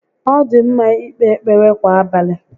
Ọ dị ḿmá íkpé ekpere kwà abalị